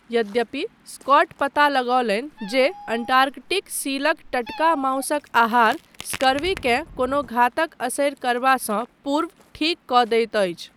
यद्यपि, स्कॉट पता लगौलनि जे अंटार्कटिक सीलक टटका माउसक आहार स्कर्वीकेँ कोनो घातक असरि करबासँ पूर्व ठीक कऽ दैत अछि।